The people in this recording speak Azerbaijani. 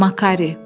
Makari.